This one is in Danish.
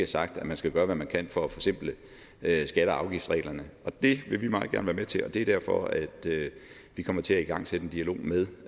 sagt at man skal gøre hvad man kan for at forsimple skatte og afgiftsreglerne det vil vi meget gerne være med til det er derfor at vi kommer til at igangsætte en dialog med